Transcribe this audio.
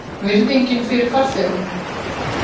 Virðingin fyrir farþegum?